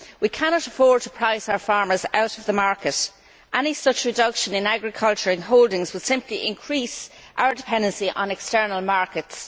We cannot afford to price our farmers out of the market. Any such reduction in agricultural holdings would simply increase our dependency on external markets.